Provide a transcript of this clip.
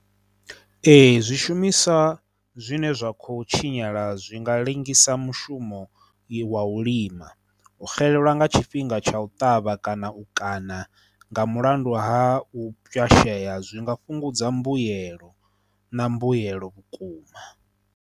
Ee, zwishumiswa zwine zwa kho tshinyala zwi nga ḽengisa mushumo wa u lima, u xelelwa nga tshifhinga tsha u ṱavha kana u kaṋa nga mulandu ha u pwyashea zwi nga fhungudza mbuyelo na mbuyelo vhukuma.